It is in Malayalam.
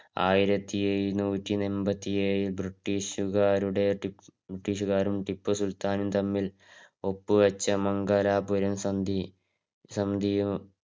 ആയിരത്തി എഴുന്നൂറ്റി എമ്പത്തി ഏഴിൽ ബ്രിട്ടീഷുകാരും ടിപ്പു സുലത്താനും തമ്മില് ഒപ്പ് വച്ച മംഗലാപുരം സന്ധി സന്ധിയും